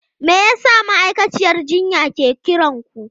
Me yasa ma'aikaciyar jinya ke kiran ku?